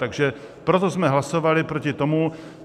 Takže proto jsme hlasovali proti tomu.